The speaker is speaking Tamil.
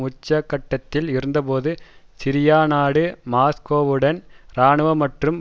உச்சகட்டத்தில் இருந்தபோது சிரியா நாடு மாஸ்கோவுடன் இராணுவ மற்றும்